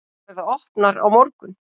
Þær verða opnar á morgun.